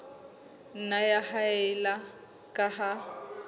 nna ya haella ka ha